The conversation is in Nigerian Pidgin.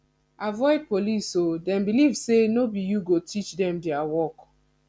avoid police o dem believe sey no be you go teach dem their work